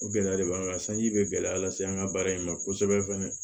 O gɛlɛya de b'an kan sanji bɛ gɛlɛya lase an ka baara in ma kosɛbɛ fana